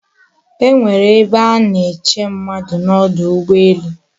Enwere ebe a na-eche mmadu n'odu ugboelu